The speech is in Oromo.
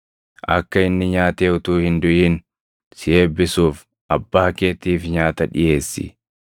Akka inni nyaatee utuu hin duʼin si eebbisuuf abbaa keetiif nyaata dhiʼeessi.”